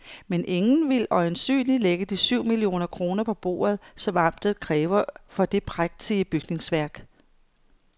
Men ingen vil øjensynligt lægge de syv millioner kroner på bordet, som amtet kræver for det prægtige bygningsværk.